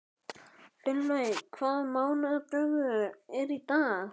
Finnlaug, hvaða mánaðardagur er í dag?